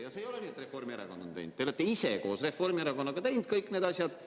Ja see ei ole nii, et Reformierakond on teinud, vaid te olete ise koos Reformierakonnaga teinud kõik need asjad.